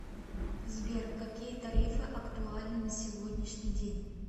сбер какие тарифы актуальны на сегодняшний день